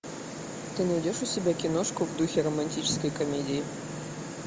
ты найдешь у себя киношку в духе романтической комедии